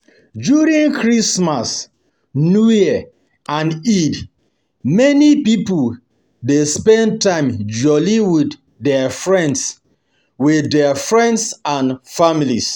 During Christmas, New year and Eid, many pipo dey spend time jolli with their friends with their friends and families